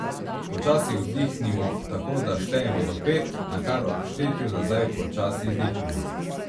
Počasi vdihnimo, tako da štejemo do pet, nakar ob štetju nazaj počasi izdihnimo.